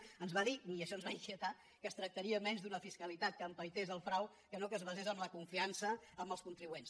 ens ho va dir i això ens va inquietar que es tractaria més d’una fiscalitat que empaités el frau que no que es basés en la confiança en els contribuents